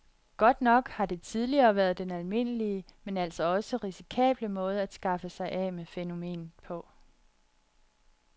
Godt nok har det tidligere været den almindelige, men altså også risikable måde at skaffe sig af med fænomenet på.